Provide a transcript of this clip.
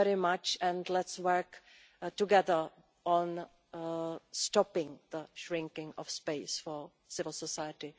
Thank you very much, and let us work together to stop the shrinking of space for civil society.